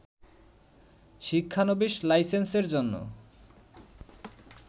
শিক্ষানবিস লাইসেন্সের জন্য